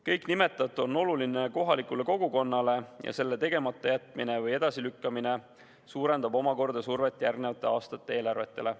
Kõik nimetatu on oluline kohalikule kogukonnale ja selle tegemata jätmine või edasilükkamine suurendab omakorda survet järgnevate aastate eelarvetele.